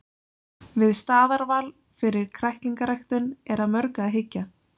Við staðarval fyrir kræklingarækt er að mörgu að hyggja.